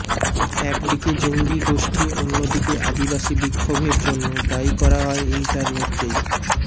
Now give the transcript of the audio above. একদিকে জঙ্গি গোষ্ঠী অন্যদিকে আদিবাসী বিক্ষোভের জন্য দায়ী করা হয় ইন্টারনেটকেই